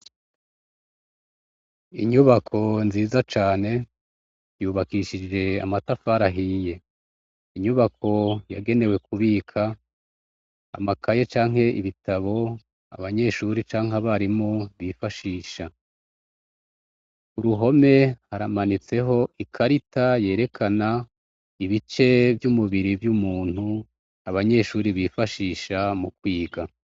Inyubako nziza cane yubakishije amatafari ahiye, inyubako yagenewe kubika amakaye canke ibitabo abanyeshure canke abarimu bifashisha, k'uruhome haramanitseho ikarita yerekana ibice vy'umubiri vy'umuntu abanyeshure bifashisha mu kwiga.